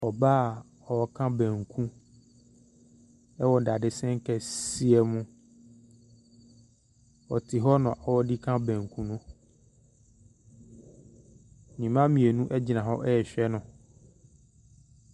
Ɔbaa ɔreka banku ɛwɔ dadesen kɛseɛ mu. Ɔte hɔ na ɔdeka banku no. Ne mma mmienu egyina hɔ rehwɛ no.